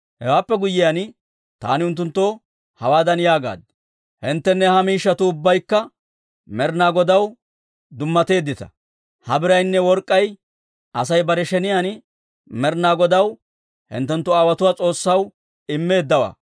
Hewaappe guyyiyaan, taani unttunttoo hawaadan yaagaad; «Hinttenne ha miishshatuu ubbaykka Med'ina Godaw dummateeddita; ha biraynne work'k'ay Asay bare sheniyaan Med'ina Godaw, hinttenttu aawotuwaa S'oossaw immeeddawaa.